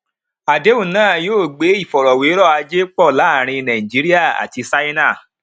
àdéhùn náà yóò gbé ìfọrọwérọ ajé pọ láàárin nàìjíríà àti ṣáínà